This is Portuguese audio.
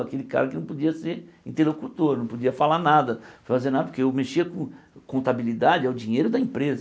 Aquele cara que não podia ser interlocutor, não podia falar nada, fazer nada, porque eu mexia com contabilidade, é o dinheiro da empresa.